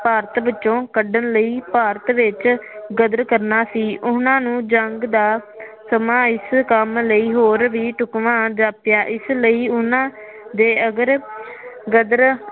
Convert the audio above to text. ਭਾਰਤ ਵਿਚੋ ਕੱਢਣ ਲਈ ਭਾਰਤ ਵਿੱਚ ਗਦਰ ਕਰਨਾ ਸੀ ਉਹਨਾ ਨੂੰ ਜੰਗ ਦਾ ਸਮਾਂ ਇਸ ਕੰਮ ਲਈ ਹੋਰ ਵਿ ਢੁਕਵਾ ਜਾਪਿਆ ਇਸ ਲਈ ਉਹਨਾ ਦੇ ਅਗਰ ਗਦਰ